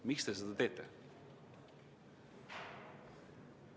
Miks te seda teete?